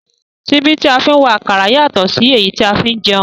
Síbí tí a fi ń wa àkàrà yàtọ̀ sí èyí tí a fi ń jẹun